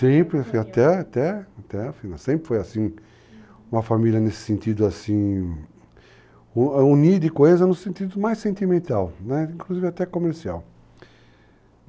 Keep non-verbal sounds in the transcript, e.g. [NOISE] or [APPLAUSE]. [UNINTELLIGIBLE] Sempre até até até sempre foi assim, uma família nesse sentido assim, unida e coesa no sentido mais sentimental, inclusive até comercial.